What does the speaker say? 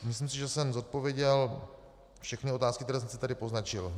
Myslím si, že jsem zodpověděl všechny otázky, které jsem si tady poznačil.